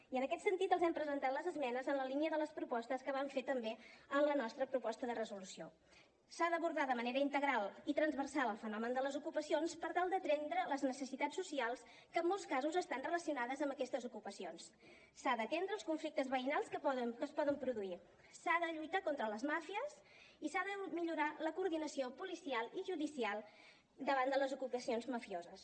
i en aquest sentit els hem presentat les esmenes en la línia de les propostes que vam fer també en la nostra proposta de resolució s’ha d’abordar de manera integral i transversal el fenomen de les ocupacions per tal d’atendre les necessitats socials que en molts casos estan relacionades amb aquestes ocupacions s’han d’atendre els conflictes veïnals que es poden produir s’ha de lluitar contra les màfies i s’ha de millorar la coordinació policial i judicial davant de les ocupacions mafioses